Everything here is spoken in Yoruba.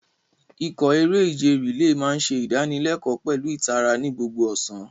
Ikọ̀ eré-ìje relay máa ń ṣe ìdánilẹ́kọ̀ọ́ pẹ̀lú ìtara ní gbogbo ọ̀sán.